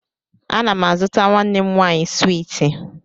Ana m a zụtara nwanne m nwaanyị swiiti